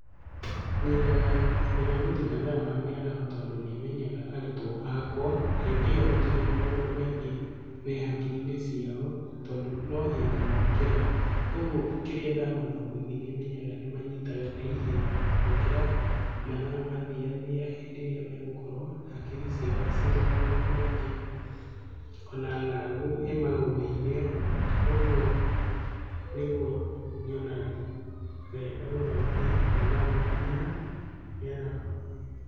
Nyendaga gũthomithia mathaa ma mĩaraho tondũ nĩmenyaga arutwo akwa hĩndĩ ĩyo matirĩ na maũndũ maingĩ me hakiri-inĩ ciao, tondũ no hĩndĩ mokĩra, ũguo kĩrĩa ndamathomithia nĩmenyaga nĩmanyitaga naihenya gũkĩra mathaa mathiathia hĩndĩ ĩrĩa megũkorwo hakiri ciao ciĩ na maũndũ maingĩ, ona ng'aragu ĩmagũmĩire. Ũguo nĩguo nyonaga wega gũthomithia mathaa ma mĩara, mĩaraho.